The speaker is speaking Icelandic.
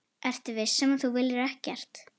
Ertu viss um að þú viljir ekkert?